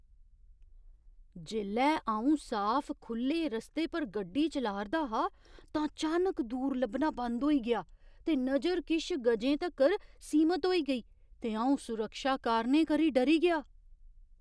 जेल्लै अ'ऊं साफ खु'ल्ले रस्ते पर गड्डी चला'रदा हा तां चानक दूर लब्भना बंद होई गेआ ते नजर किश गजें तगर सीमत होई गेई ते अ'ऊं सुरक्षा कारणें करी डरी गेआ।